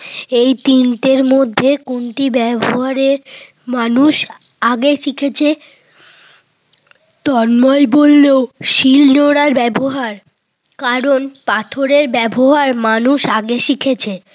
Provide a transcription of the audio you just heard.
এই তিনটির মধ্যে কোনটি ব্যব হারে মানুষ আগে শিখেছে? তন্ময় বলল শিল নোড়ার ব্যবহার। কারণ পাথরের ব্যবহার মানুষ আগে শিখেছে।